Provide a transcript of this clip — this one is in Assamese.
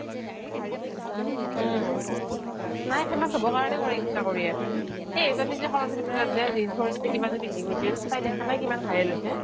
উম নাই famous হব কাৰনে কৰে ইচ্ছা কৰিয়েই এ এইজনী যে সৰস্বতী পুজাত যে rings ৰ কিবা কিবি পিন্ধি গৈছিল তাই দেখা নাই কিমান viral হৈছে